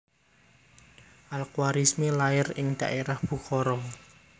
Al Khawarizmi lair ning daerah Bukhara